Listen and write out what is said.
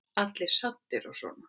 Allir svo saddir og svona.